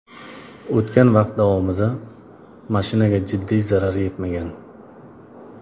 O‘tgan vaqt davomida mashinaga jiddiy zarar yetmagan.